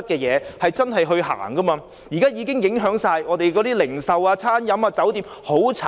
現在的情況已影響香港的零售業、餐飲業及酒店業。